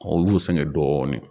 Ɔ u y'u sɛngɛn dɔɔnin.